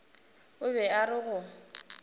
o be a re go